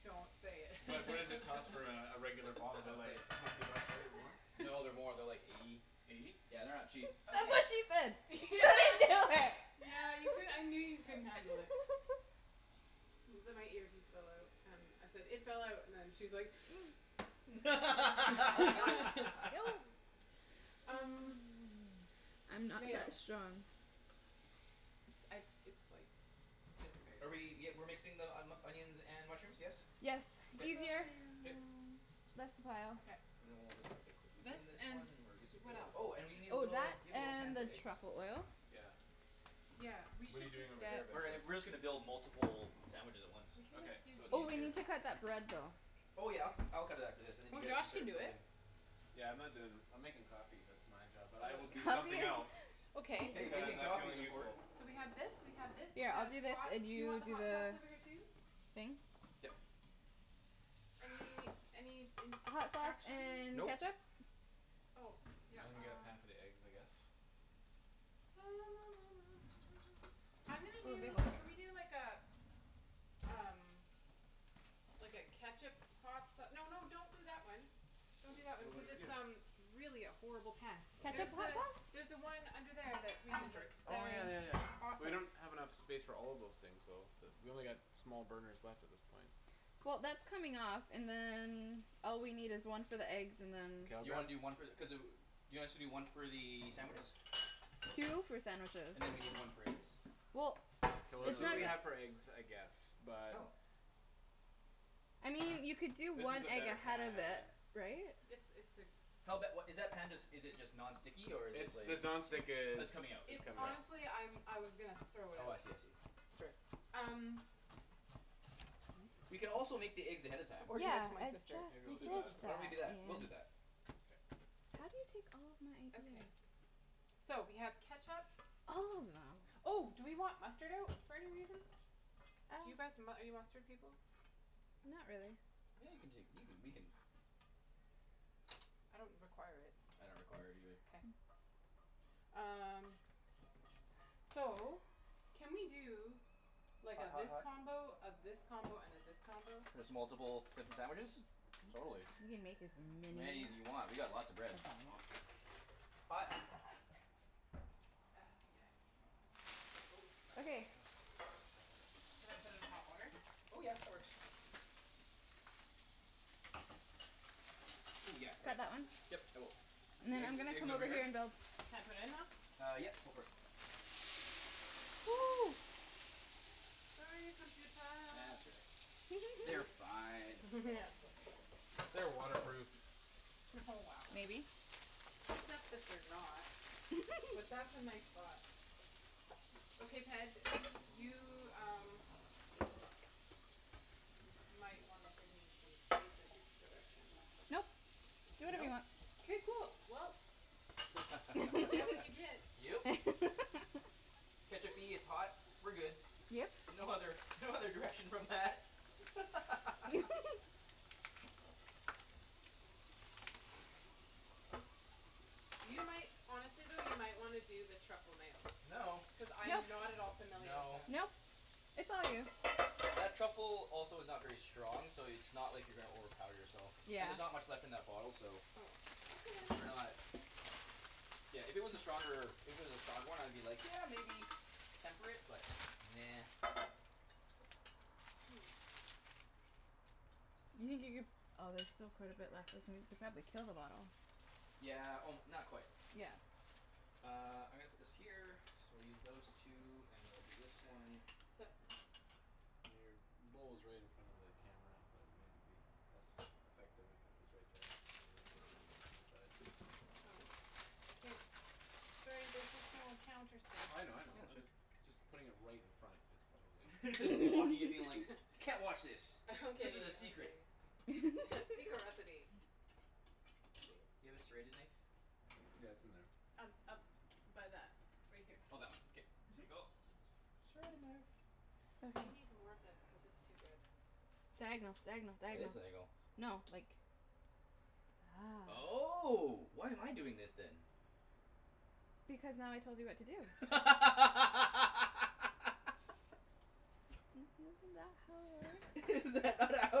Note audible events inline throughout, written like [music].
Don't say But what does it it. [laughs] cost for a regular bottle? They're That's like like hun- sixty bucks right? Or more? No they're [laughs] more they're like eighty. Eighty? Yeah, they're not cheap. That's Okay what she Yeah. said [laughs] do yeah it. [laughs] yeah you cou- I knew you couldn't handle it. [laughs] The my earpiece fell out. Um I said it fell out and she's like [noise] [laughs] [laughs] [noise] Um [noise] I'm not mayo. that strong. It's I it's like just Are we barely. y- we're mixing the onions and mushrooms, yes? Yes, I'm it's K sure easier. Ian Um K. um. less pile. Okay. And then we'll just have to quickly This clean this and one and we're good to what go. else? Oh and we need a Oh, little do that you have a little pan and for the eggs? truffle oil. Yeah. Yeah, we What're you should just doing over here get. We're getting basically? we're just gonna build multiple sandwiches at once. We can Okay. just do So it's Oh these. we easier. need to cut that bread though. Oh yeah I'll ca- I'll cut it after this and then you Or guys can Josh can start do it. building. Yeah I'm not doin' I'm makin' coffee that's my job but I will do Oh Coffee? somethin' else. [laughs] Okay. Hey, Cuz I making like coffee's feeling important. useful. So we have this we have this we Yeah I'll have do this hot and do you want you the do hot sauce the over here too? thing? Yep. Any any Hot sauce instructions? and Nope. ketchup? Oh yeah I'm gonna get a pan um for the eggs, I guess. [noise] I'm gonna Oh, do bagels. can we do like uh Um like a ketchup hot sa- no no don't do that one. Well Don't do that wait one what cuz did we it's um do? really a horrible pan. Ketchup There's hot the sauce? there's the one under there that we I'm use sorry. it. Oh yeah yeah yeah we Awesome. don't have enough space for all of those things though. We only got small burners left at this point. Well that's coming off and then all we need is one for the eggs and then K I'll You wanna grab do one for the cuz uh you want us to do one for the sandwiches? Two for sandwiches. And then we need one for eggs. Well K Cuz we're it's it's really not really cutting not for eggs I guess Oh but I mean you could do This is one a egg better ahead of it, pan right? It's it's a Hell bet what is that pan just is it just non It's stick or is it It's like just the non-stick Oh is it's it's coming coming out out. It's right honestly I'm I was gonna throw it Oh I out. see I see. That's all right. Um. We can also make the eggs ahead of time. Or give it to Yeah my I sister Maybe we'll do just that. [laughs] Why said don't we do that? that We'll do that. Ian K. How do you take all of my Okay. ideas? So we have ketchup. All of them. Oh do we want mustard out for any reason? Do you Uh. guys mu- are you mustard people? Not really. Yeah you can take you can we can I don't require it. I don't require it either. K. [noise] Um so can we do Like a Hot hot this hot combo, a this combo and a this combo? Just multiple types of sandwiches? Totally. We can make as Many many as you want, we got lots of bread. [noise] Hot. That yeah. Oh not yet Okay. I'm just gonna wait here a second. Should I put in hot water? Oh yeah, that works. Oh yeah Got right. that one? Yep, I will. And then I'm Eg- gonna eggs come over over here and here? build. Can I put it in now? Uh yep go for it. [noise] Sorry computah That's all right. They're [laughs] fine. [laughs] Yeah. They're waterproof. Oh wow. Maybe. Except that they're not. But [laughs] that's a nice thought. Okay Ped, you um Might wanna give me some basic direction. Nope, do whatever you Nope. want. K cool well You get what you [laughs] get. Yep. [laughs] ketchup-y, it's hot. We're good. Yep. No other no other direction from that [laughs] [laughs] You might honestly though you might wanna do the truffle mayo. No Cuz I No am not at all familiar with No it. Nope, it's all you. That truffle also is not very strong so it's not like you're gonna overpower yourself. Yeah. And there's not much left in that bottle so Oh. Okay then. We're not. Yeah, if it was a stronger if it was a stronger one I'd be like, "Yeah maybe". Temper it, but nah. [noise] You can get your oh there's still quite a bit left isn't you'll probably kill the bottle. Yeah o- not quite. Yeah. Uh I'm gonna put this here so we'll use those two and we'll do this one Sup? Your bowl is right in front of the camera. That maybe be less effective if it was right there rather than a little bit to the side. Oh. K. Sorry, there's just no counter space. Well I know I know. Yeah it's I'm right. just just putting it right in front is probably [laughs] Just blocking it being like. [laughs] "Can't watch this. [laughs] This is a Okay secret." okay. Yeah secret recipe. [laughs] Let's see. You have a serrated knife? Yeah, it's in there. Um up by that right here. Oh that one K. Mhm. sank O. Serrated knife. Okay. They need more of this cuz it's too good. Diagonal diagonal That is diagonal. diagonal. No like That's Oh why am I doing this then? Because now I told you what to do. [laughs] [noise] Isn't that how it works? [laughs] Is that not how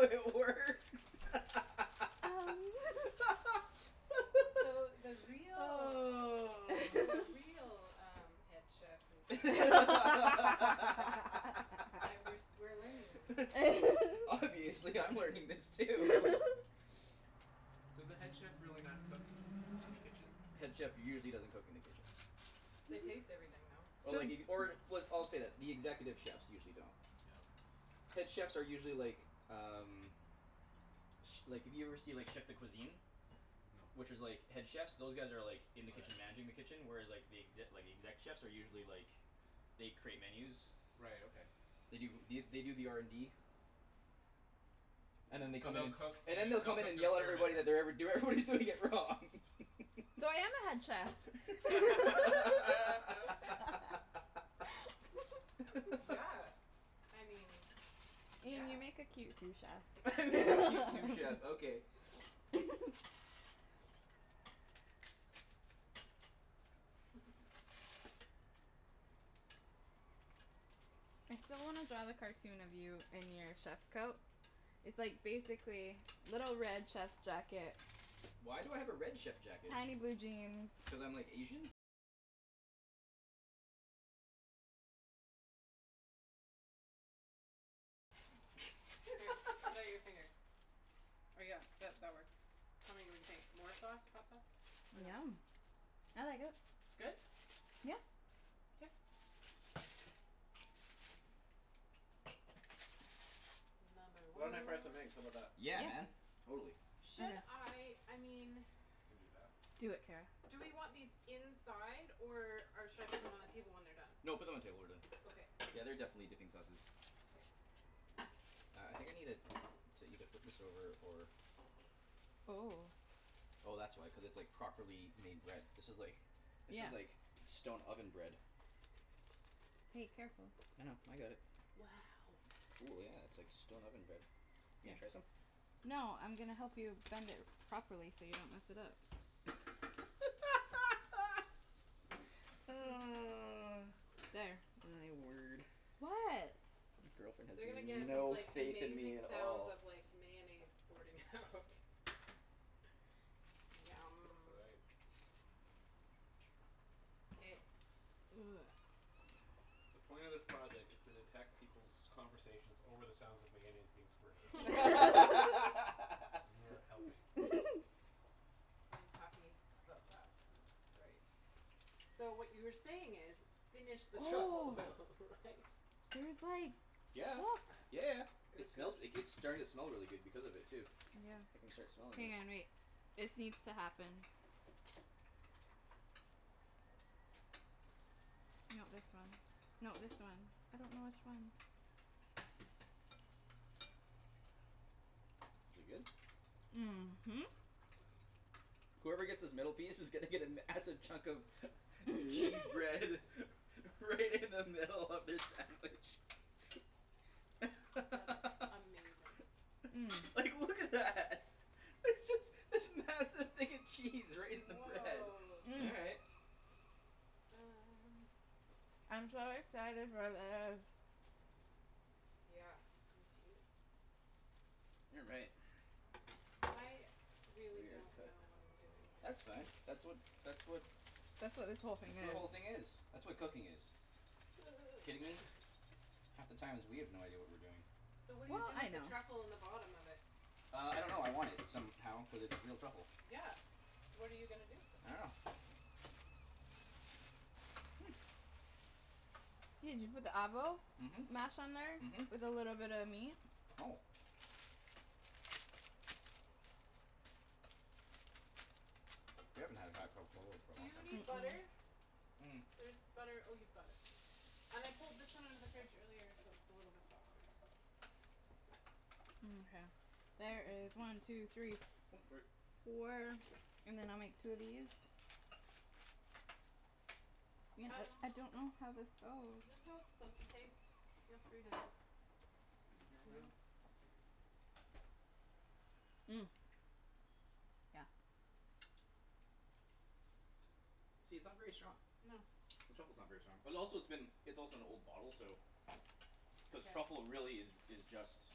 it works? [laughs] [noise] Um [laughs] So the real the [laughs] real um head chef is uh [laughs] Aight, we're s- we're learning this. [laughs] Obviously I'm learning this too [laughs] Does the head chef really not cook in the kitchen? Head chef usually doesn't cook in the kitchen. [noise] They taste Mhm. everything though. Oh like if you or w- I'll say that executive chefs usually don't. Yeah, okay. Head chefs are usually like um Ch- like if you ever see like chef de cuisine. No. Which is like head chefs those guys are like Oh In the kitchen yeah. managing the kitchen whereas like The exe- the exec chefs are usually like They create menus Right, okay. They do the they do the R N D And then they [noise] So come in they'll and cook And then to they'll they'll come in cook and to yell at experiment everybody then. that they're ever- do- everybody's doing it wrong [laughs] So I am a head chef. [laughs] Yeah, [laughs] [laughs] I mean, Ian yeah. you make a cute sous [laughs] chef. I make a cute sous chef okay. [laughs] [laughs] I still wanna draw the cartoon of you in your chef's coat. It's like basically little red chef's jacket Tiny blue jeans K, put out your [laughs] finger. Or yeah that that works. Tell me what you think. More sauce? Hot sauce? Or no? Yum. I like it. It's good? Yeah. K. Another Why one. don't I fry some eggs? How 'bout that? Yeah Yeah. man, totally. Should Okay. I I mean I can do that. Do it, Kara. Do we want these inside or uh should I put them on the table when they're done? No put them on the table when they're Okay. done. Yeah they're definitely dipping sauces. K. Uh I think I needed to either flip this over or Oh. Oh that's why cuz it's like properly made bread. This is like This Yeah. is like stone oven bread. Hey, careful. I know, I got it. Wow. Cool yeah it's like stone oven bread. You gonna try some? No I'm gonna help you bend it properly so you don't mess it up. [laughs] [noise] [laughs] There. My word. What? Girlfriend They're gonna has get these no like faith in me amazing at sounds all. of like mayonnaise squirting out [laughs] It's Yum. aight. K. [noise] The point of this project is to detect peoples' conversations over the sounds of mayonnaise being squirted out. [laughs] And you are [laughs] helping. [laughs] I'm happy about that. That's great. So what you were saying is, "Finish this truffle Oh oil", right? [laughs] There's like, Yeah yeah look yeah Good it good. smells g- like it's starting to smell really good because of it too. I can start Yeah. smelling Hang this. on, wait. This needs to happen. No this one. No this one. I don't know which one. Is it good? Mhm. Whoever gets this middle piece is gonna get a massive chunk of [laughs] Cheese [laughs] bread [laughs] Right in the middle of their sandwich. That's [laughs] amazing. [noise] Like look at that. There's this this massive thing of cheese right in the bread. Woah. All right. [noise] Um. I'm so excited for this. Yeah, me too. You're right. I really Weird don't cut. know what I'm doing here. That's fine. That's what that's what That's what this whole That's thing what is. the whole thing is. That's what cooking is. Kidding me? [noise] Half the times we have no idea what we're doing. So what do you Well, do I with the know. truffle in the bottom of it? Uh I don't know. I want it. Somehow. Cuz it's real truffle. Yeah, what are you gonna do with it? I dunno [noise] Ian, did you put the avo? Mhm. Mhm. Mash on there? With a little bit of meat? Oh. We haven't had a hot cup of Kahlua for a Do long you time. need Mm- butter? mm. There's butter oh you've got it. And I pulled this one out of the fridge earlier so it's a little bit softer. Mkay. There is one two three [noise] Oh f- sorry. four and then I'll make two of these. Ian uh I don't know how this goes. Is this how it's supposed to taste? Feel free to. These in here right off. [inaudible] [noise] Yeah. See, it's not very strong. No. The truffle's not very strong. But also it's been it's also an old bottle so Cuz Yeah. truffle really is is just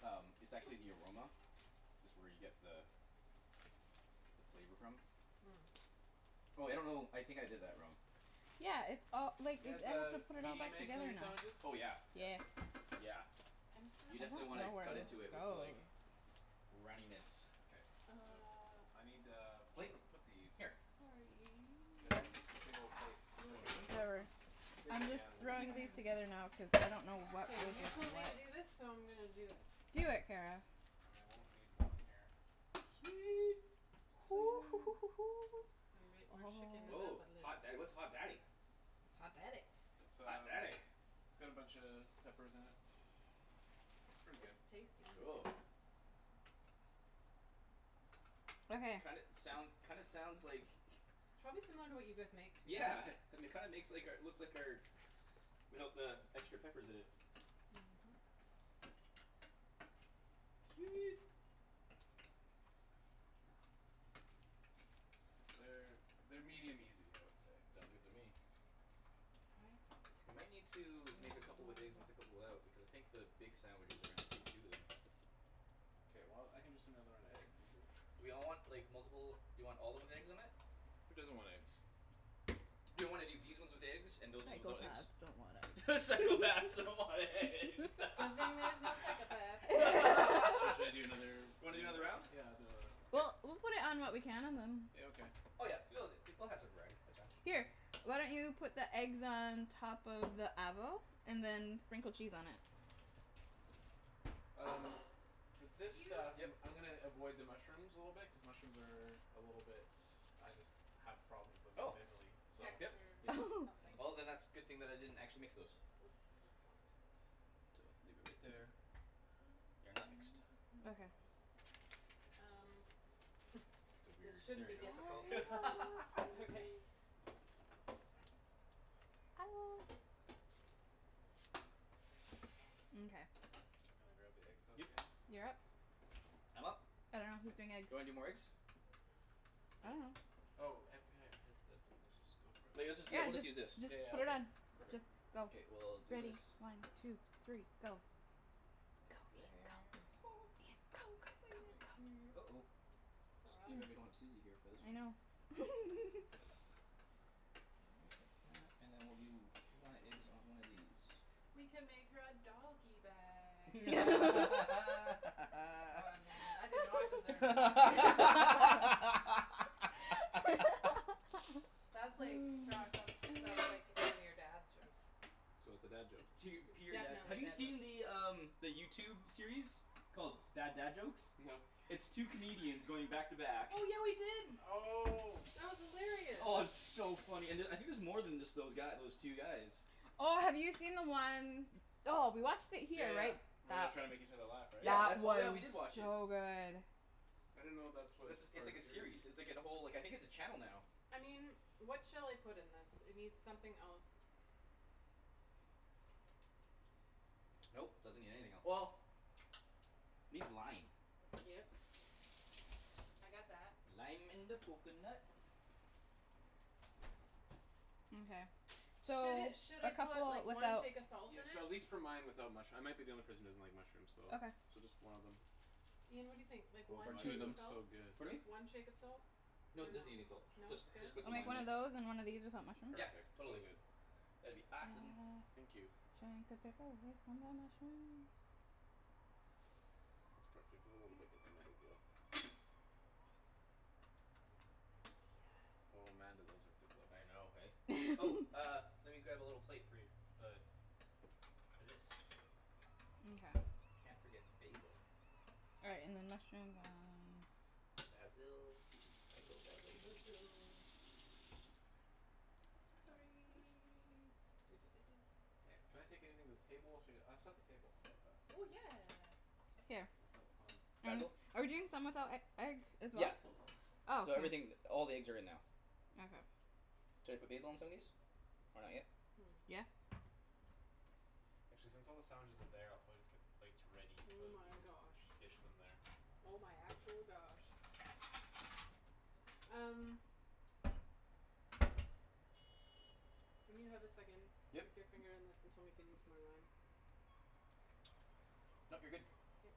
Um it's actually the aroma. That's where you get the The flavor from. [noise] Oh I don't know. I think I did that wrong. Yeah, it's all You like i- guys I need uh to put it all medium back eggs on together your now. sandwiches? Oh yeah Yeah. Yeah. yeah. I'm just gonna I You steal don't definitely wanna know where cut this into it off with goes. like runniness. K Uh um I need a Plate? plate to put these. Here. Sorry. Get that big ol' plate for Looking everyone. for Whatever. some Big I'm one just yeah and then I'll Okay throwing just these okay okay together now cuz I don't know what K, goes you with told me to what. do this so I'm gonna do it. Do it, Kara. And I won't need one here. Sweet exciting. [noise] [noise] We're shakin' it Oh. up Oh a little. hot da- what's hot daddy? It's hot daddy. It's Hot um daddy it's got a buncha peppers in it. It's pretty It's good. it's tasty. Cool Okay. Kinda soun- kinda sounds like Probably similar to what you guys make to be Yeah honest. um it kinda makes like our looks like our Without the extra peppers in it. Mhm. Sweet Cuz they're they're medium easy I would say. Sounds good to me I think We might need to we make a make couple more of with eggs and with a this. couple out. Because I think the big sandwiches are gonna take two of them. K well I can just do another round of eggs, easy. Do we all want like multiple do we all of 'em with eggs on it? Who doesn't want eggs? Do you wanna do these ones with eggs and those ones without eggs? Psychopaths don't [laughs] want Psychopaths eggs. [laughs] don't want eggs. [laughs] Good [laughs] thing there's no psychopaths here. So should I do another [laughs] Wanna do another round round? of them? Yeah I'll do another round. K Well we'll put it on what we can and then Yeah, okay. Oh yeah. She loves it. She we'll have some variety, that's fine. Here, why don't you put the eggs on top of the avo and then sprinkle cheese on it? Um for this Do you stuff Yep. I'm gonna avoid the mushrooms a little bit cuz mushrooms are A little bit I just have problems with them Oh mentally so yep Texture yeah. Oh [laughs] something. Well then that's good thing that I didn't actually mix those. Oops, I just bonked. [inaudible] leave it right there. They're not mixed. Okay. [noise] Um [laughs] The weird This shouldn't there be difficult we go I love [laughs] [laughs] okay. you [noise] Mkay. I'm gonna grab the eggs out Yep again. You're up. I'm up? I dunno who's doing eggs. Do you wanna do more eggs? I dunno. Oh epi- had Ped said let's just go for it. Like Yeah, let's just yeah we'll just just use this just Yeah yeah put it okay on. Just perfect. go. K well I'll do Ready, this. one two three go. One Go egg Ian there. [noise] So go. Ian go Come in excited. go here. go go. Uh oh It's It's all right. too bad we don't have Susie here for this [noise] I one. know. [laughs] All right like that and then we'll do one egg is on one of these. We can make her a doggy bag. Oh [laughs] man, I did not deserve laughter. [laughs] That's like, Josh, that's [noise] that's [laughs] like one of your dad's jokes. So it's a dad joke. It's tear It's pure dad definitely have a you dad joke. see the um The YouTube series called Bad Dad Jokes? No. It's two comedians going back to back Oh yeah we did. Oh That was hilarious. Oh and it's so funny and uh I think there's more than just those guy those two guys. Oh have you seen the one. Oh we watched it Yeah here right? yeah where they're That trying to make each other laugh right? Yeah that that's oh we was did watch it. so good. I didn't know that That's a was it's part of like a a series. series. It's like a whole I think it's a channel now. I mean, what shall I put in this? It need something else. [noise] [noise] Nope, doesn't need anything el- well Needs lime. Yep. I got that. Lime in the coconut. Mkay. So Should it should a I call couple it like one without shake of salt in Yeah so at it? least for mine without mush- I might be the only person that doesn't like mushrooms so Okay. so just one of them. Ian, what do you think? Like Oh [inaudible] one shake of looks so salt? [inaudible] good. Pardon me? One shake of salt? Dunno. No No? Good? doesn't need any salt. Just just put I'll some make lime one in it. of those and one of these without mushrooms? Yeah Perfect. So totally good. that'd be Uh giant awesome. Thank you. uh pepper away from the mushrooms That's perf- if you wanna bake it's another dill. Oh man do those look good though. I know hey? Oh [laughs] uh let me grab a little plate for you. The For this. Mkay. Can't forget basil. All right, and then mushrooms uh Basil basil basil basil Sorry [noise] Can I take Sorry. anything to the table? Should I get I'll set the table how 'bout that? Oh yeah. Here. Myself hond- Um Basil? handy. are we doing some without e- egg as well? Yeah Oh K. so everything all the eggs are in now. Okay. Should I put basil on some of these? Or not yet? Hmm. Yeah. Actually since all the sandwiches are there I'll probably just get the plates ready Oh so we my can gosh. dish them there. Oh my actual gosh. Um. When you have a second, Yep stick your finger in this and tell me if it needs more lime. [noise] Nope you're good. K.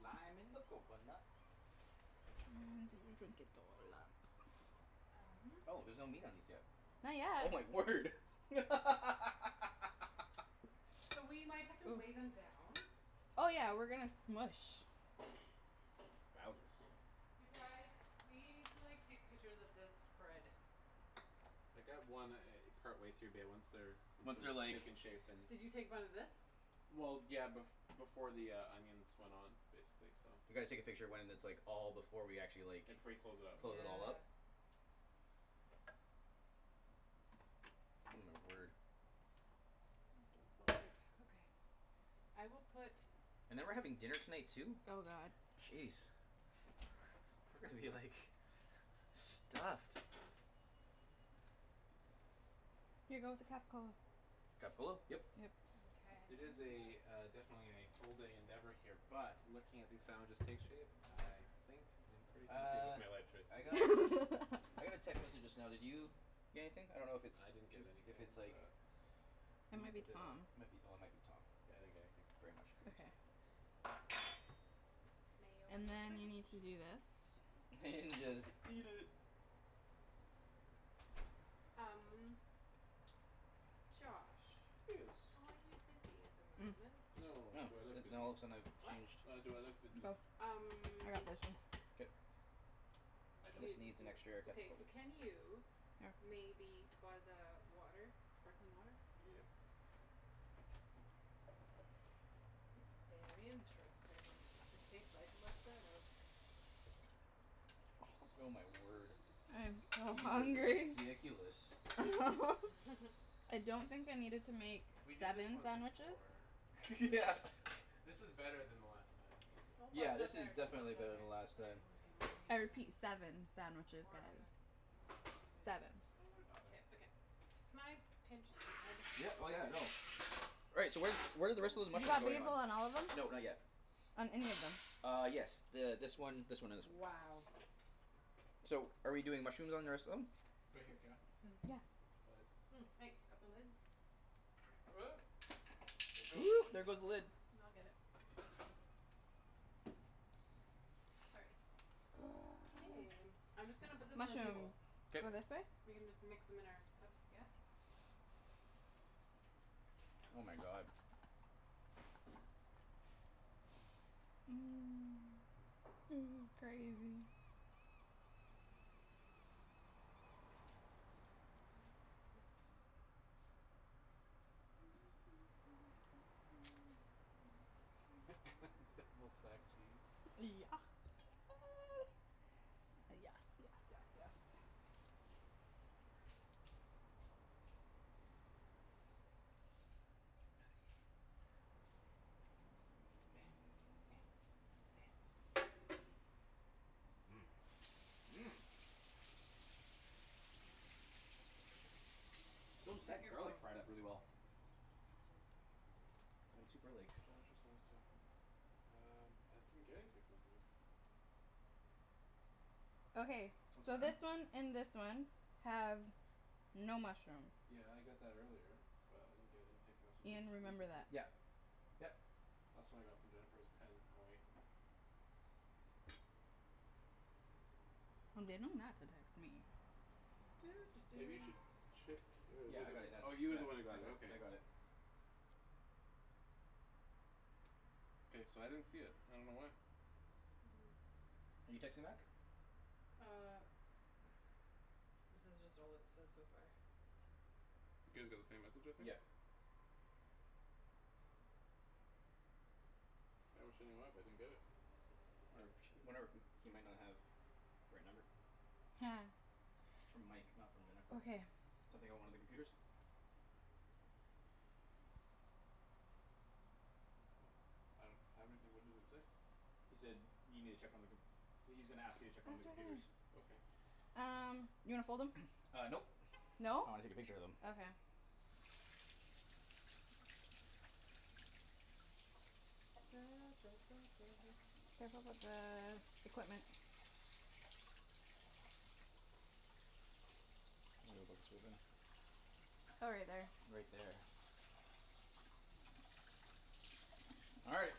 Lime in the coconut. [noise] You drink it all up. Um. Oh there's no meat on these yet? Not Oh my yet. word [laughs] So we might have to wave Oh. 'em down. Oh yeah, we're gonna smoosh. Wowzus You guys, we need to like take pictures of this spread. I got one e- partway through bae once they're Once Once they're they're like taken shape then Did you take one of this? Well yeah bef- before the uh onions went on basically so. We gotta take a picture when it's like all before we actually Yeah like before you close it up. close it all up Yeah. Oh my word. Please don't fall out. Okay. I will put And then we're having dinner tonight too? Oh god. Jeez We're gonna be like [laughs] stuffed. Here go with the Capocollo. Capocollo? Yep. Yep. Mkay It is [noise] a uh definitely a full day endeavor here But looking at these sandwiches take shape I think I'm pretty happy with Uh my life choice so I got I got a [laughs] text message just now did you get anything? I don't know if it's I didn't get if anything it's like but It m- might Or be did Tom. I? Yeah might be oh it might be Tom. I didn't get anything. Very much could be Okay. Tom. Mayo in And the then you fridge. need to do this. Then [noise] just eat it. Um Josh, Yes. are you busy at the moment? [noise] Oh No, do I look busy? now all of a sudden I've What? changed No, do I look busy? Oh, I got Um this one. K [noise] No, I don't. This needs an extra okay so capocollo can you Oh. Maybe buzz a water? Sparkling water? Yep. It's very interesting. It tastes like [inaudible] Oh my word. I am so These are hungry. ridiculous. [laughs] [laughs] I don't think I needed to make We did this seven once sandwiches. before [laughs] Yeah but. This is better than the last time. Don't buzz Yeah it up this is there don't buzz it definitely up better there. than last Put it time. on the table if you need I to, honey. repeat, seven sandwiches Or on the guys. don't do Seven. Don't worry 'bout k, it. okay. Can I pinch the I Yeah just oh sorry yeah no Right, so where where're the rest of those You got mushrooms going on? basil on all of No them? not yet. On any of them? Uh yes th- this one this one and this one. Wow. So are we doing mushrooms on the rest of them? Right here, Kara Yeah. [noise] Right beside. [noise] Thanks, got the lid? [noise] There it goes. [noise] there goes the lid. N- I'll get it. Sorry. K, [noise] I'm just gonna put this on the Mushrooms table. go All K this right. way? We can just mix 'em in our cups, yeah? Oh my god. [laughs] [noise] This is crazy. [noise] Yeah [laughs] Double [noise] stacked cheese. s- yes yes yes yes [noise] [noise] Those Check deck your garlic phone. fried up really well. I'm super like Josh is almost there [noise] Um I didn't get any text messages. Okay, What's so going on? this one and this one have no mushroom. Yeah I got that earlier, but I didn't get any text messages Ian, remember recently. that. Yep yep Last one I got from Jennifer was ten O eight. Well, they know not to text me. Maybe you should [noise] check oh Yeah yeah I well got it you that's oh you were the one who got it that that I got okay. it. K, so I didn't see it, I don't know why. [noise] You texting back? Uh This is just all it said so far. You guys got the same message I think. Yep. I wish I knew why but I didn't get it. Wonder if wonder if he might not have The right number. [noise] It's from Mike not from Jennifer. Okay. Something about one of the computers? Well I don't have anything what does it say? He said need me to check one of the com- well he's gonna ask you to Oh it's check one right of the there. computers. Okay. Um, you wanna [noise] fold 'em? Uh nope No? I wanna take a picture of them. Okay. [noise] Careful with the equipment. Oh right there. Right there. All right.